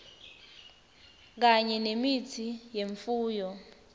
kanye nemitsi yemfuyo